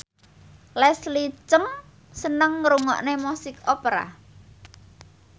Leslie Cheung seneng ngrungokne musik opera